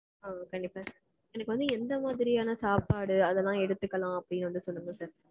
ஆ கண்டிப்பா sir. எனக்கு வந்து எந்த மாதிரியான சாப்பாடு அதெல்லாம் எடுத்துக்கலாம் அப்டீனு வந்து சொல்லுங்க sir.